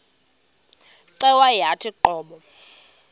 cweya yawathi qobo